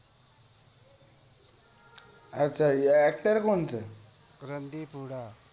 અચ્છા actor કોણ છે રણદીપ હુડ્ડા